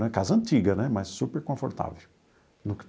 É casa antiga né, mas super confortável.